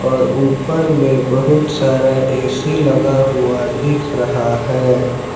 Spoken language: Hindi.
और ऊपर मे बहुत सारा ए_सी लगा हुआ दिख रहा है।